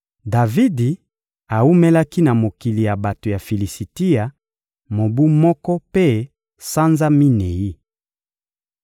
Davidi awumelaki na mokili ya bato ya Filisitia mobu moko mpe sanza minei.